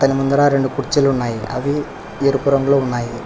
ఇక్కడ ముందర రెండు కుర్చీలు ఉన్నాయి అవి ఎరుపు రంగు లో ఉన్నాయి